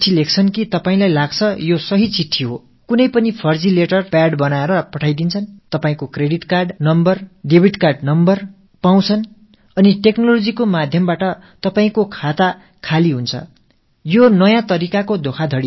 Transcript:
போலியான லெட்டர் பேடை யார் வேண்டுமானாலும் உருவாக்கி அதன் மூலம் அனுப்பி வைக்க முடியும் உங்கள் கடன் அட்டை எண் டெபிட் கார்ட் எண் ஆகியவற்றைப் பெறுகிறார்கள் தொழில்நுட்பம் வாயிலாக உங்கள் வங்கிக் கணக்கை சுத்தமாகத் துடைத்து விடுகிறார்கள்